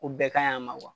O bɛɛ ka ɲi a ma